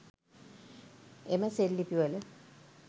එම සෙල් ලිපිවල